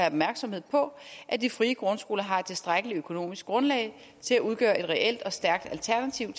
opmærksomhed på at de frie grundskoler har et tilstrækkeligt økonomisk grundlag til at udgøre et reelt og stærkt alternativ